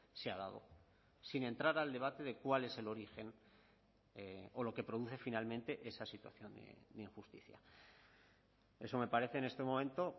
se ha dado sin entrar al debate de cuál es el origen o lo que produce finalmente esa situación de injusticia eso me parece en este momento